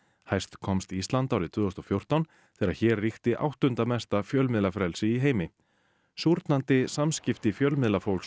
hæst komst Ísland árið tvö þúsund og fjórtán þegar hér ríkti áttunda mesta fjölmiðlafrelsi í heimi samskipti fjölmiðlafólks